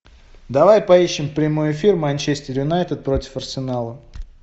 давай поищем прямой эфир манчестер юнайтед против арсенала